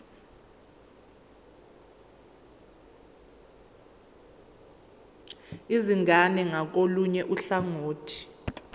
izingane ngakolunye uhlangothi